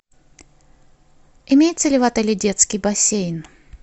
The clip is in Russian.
имеется ли в отеле детский бассейн